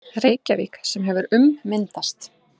Reykjavík sem hefur ummyndast